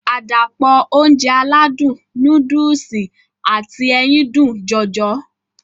Àdàpọ̀ Ounjẹ aládùn nóódùsì àti ẹyin dùn jọjọ